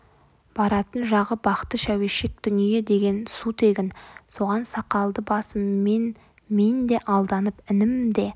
баратын жағы бақты шәуешек дүние деген су тегін соған сақалды басыммен мен де алданып інім де